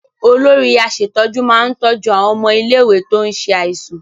Olórí aṣètójú máa tọ́jú àwọn ọmọ ilé-ìwé tó ń ṣe àìsàn.